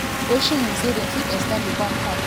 osimhen say dem fit ex ten d di contract until 2027. um